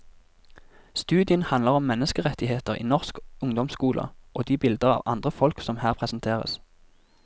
Studien handler om menneskerettigheter i norsk ungdomsskole og de bilder av andre folk som her presenteres.